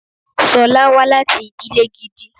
Sọ́lá wá láti ìdílè gidi.